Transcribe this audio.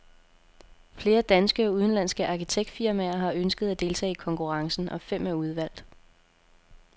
Flere danske og udenlandske arkitektfirmaer har ønsket at deltage i konkurrencen, og fem er udvalgt.